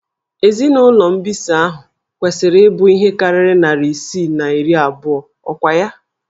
Ezinụlọ mbisa ahụ niile kwesịrị ịbụ ihe karịrị narị isii na iri abụọ, ọkwa ya?